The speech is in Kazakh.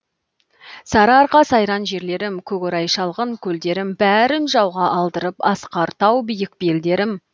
сарыарқа сайран жерлерім көк орай шалғын көлдерім бәрін жауға алдырып асқар тау биік белдерім